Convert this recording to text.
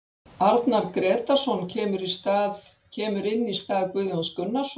Arnar Grétarsson kemur inn í stað Guðjóns Gunnarssonar.